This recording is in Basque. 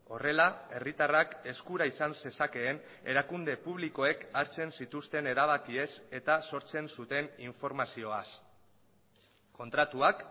horrela herritarrak eskura izan zezakeen erakunde publikoek hartzen zituzten erabakiez eta sortzen zuten informazioaz kontratuak